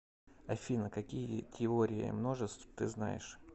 афина какие теория множеств ты знаешь